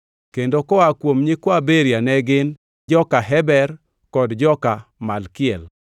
kendo koa kuom nyikwa Beria ne gin: joka Heber; kod joka Malkiel.